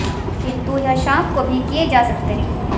किंतु यह शाम को भी किए जा सकते हैं